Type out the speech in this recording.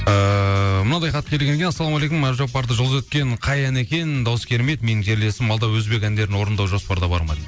ііі мынадай хат келген екен ассаламағалейкум әбдіжаппарды жұлдыз еткен қай ән екен даусы керемет менің жерлесім алда өзбек әндерін орындау жоспарда бар ма